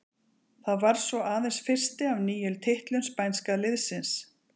Það varð svo aðeins fyrsti af níu titlum spænska liðsins.